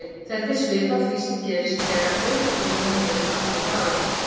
Þetta er svipað því sem gerist þegar við tölum og heyrum aðra tala.